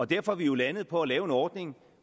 derfor er vi jo landet på at lave en ordning